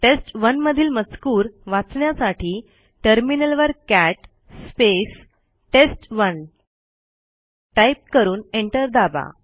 टेस्ट1 मधील मजकूर वाचण्यासाठी टर्मिनलवर कॅट test1टाईप करून एंटर दाबा